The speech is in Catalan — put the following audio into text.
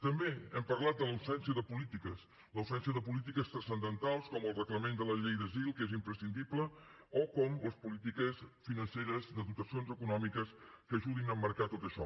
també hem parlat de l’absència de polítiques l’absència de polítiques transcendentals com el reglament de la llei d’asil que és imprescindible o com les polítiques financeres de dotacions econòmiques que ajudin a emmarcar tot això